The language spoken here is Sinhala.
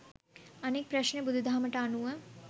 අනික් ප්‍රශ්නය බුදු දහමට අනුව